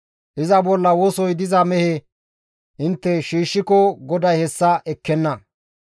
Iza bolla wosoy diza mehe intte shiishshiko GODAY hessa ekkenna.